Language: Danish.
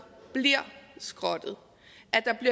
ind skrottet